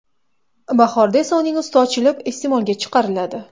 Bahorda esa uning usti ochilib, iste’molga chiqariladi.